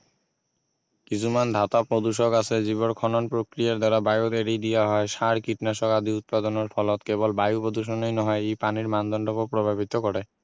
কিছুমান ধাতু প্ৰদূষক আছে যিবোৰ খনন প্ৰক্ৰিয়াৰ দ্বাৰা বায়ুত এৰি দিয়া হয় সাৰ কীটনাশক আদি উৎপাদনৰ ফলত কেৱল বায়ু প্ৰদূষনেই নহয় ই পানীৰ মানদণ্ডকো প্ৰভাৱিত কৰে